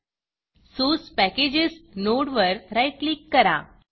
source Packagesसोर्स packages नोडवर right click करा